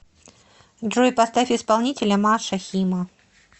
джой поставь исполнителя маша хима